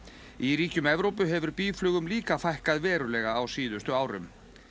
í ríkjum Evrópu hefur býflugum líka fækkað verulega á síðustu árum